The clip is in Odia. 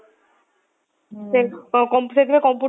ସେ computer ରେ ଥିବେ computer